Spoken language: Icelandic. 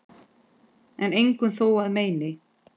en engum þó að meini